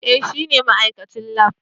Eh shine ma'aikacin lab.